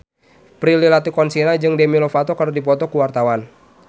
Prilly Latuconsina jeung Demi Lovato keur dipoto ku wartawan